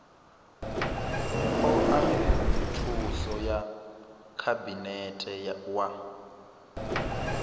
oa thuso ya khabinete wa